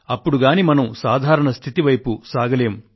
అప్పుడుగాని మనం సాధారణ స్థితి వైపు సాగలేము